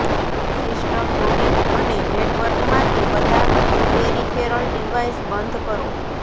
system unit અને network માંથી બધા પેરિફેરલ ડિવાઇસ બંધ કરો